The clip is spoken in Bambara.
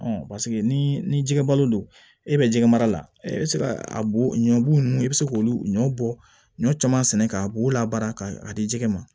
ni ni jɛgɛbalo don e bɛ jɛgɛ mara la e bɛ se ka a bo ɲɔ bugu ninnu i bɛ se k'olu ɲɔ bɔ ɲɔ caman sɛnɛ ka bo labaara ka di jɛgɛ ma